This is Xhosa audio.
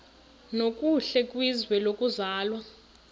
nokuhle kwizwe lokuzalwa